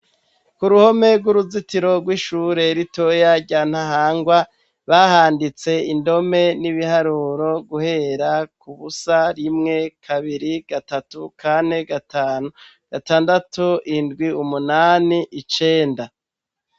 K'uruhome rw'uruzitiro rw'ishure ritoya rya Ntahangwa, bahanditse indome n'ibiharuro guhera ku busa, rimwe, kabiri, gatatu, kane, gatanu, gatandatu, indwi, umunani, icenda.